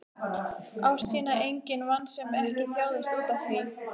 Ást sína enginn vann sem ekki þjáðist útaf því.